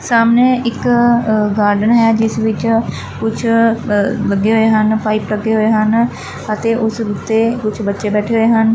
ਸਾਹਮਣੇ ਇੱਕ ਅ ਗਾਰਡਨ ਹੈ ਜਿਸ ਵਿੱਚ ਕੁਛ ਲੱਗੇ ਹੋਏ ਹਨ ਪਾਈਪ ਲੱਗੇ ਹੋਏ ਹਨ ਅਤੇ ਉਸ ਉੱਤੇ ਕੁਝ ਬੱਚੇ ਬੈਠੇ ਹੋਏ ਹਨ।